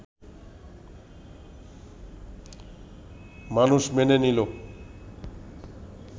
মানুষ মেনে নিল